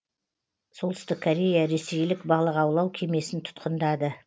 солтүстік корея ресейлік балық аулау кемесін тұтқындады